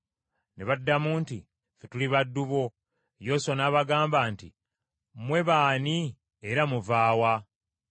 Ne baddamu nti, “Ffe tuli baddu bo.” Yoswa n’abagamba nti, “Mmwe baani era muva wa?”